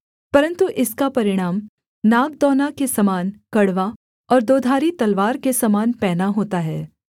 परन्तु इसका परिणाम नागदौना के समान कड़वा और दोधारी तलवार के समान पैना होता है